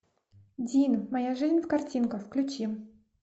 дин моя жизнь в картинках включи